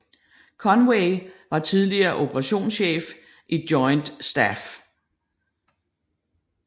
Conway var tidligere operationschef i Joint Staff